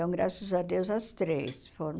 Então, graças a Deus, as três foram